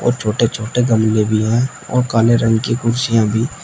और छोटे छोटे गमले भी हैं और काले रंग की कुर्सियां भी--